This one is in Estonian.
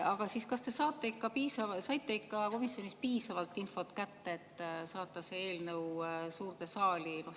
Aga kas te ikka saite komisjonis piisavalt infot kätte, et saata see eelnõu suurde saali?